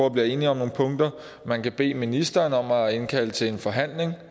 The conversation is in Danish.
at blive enige om nogle punkter man kan bede ministeren om at indkalde til en forhandling